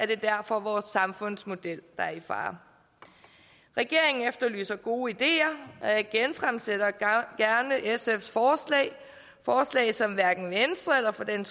det derfor vores samfundsmodel der er i fare regeringen efterlyser gode ideer og jeg genfremsætter gerne sfs forslag forslag som hverken venstre eller for den